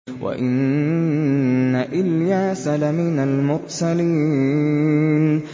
وَإِنَّ إِلْيَاسَ لَمِنَ الْمُرْسَلِينَ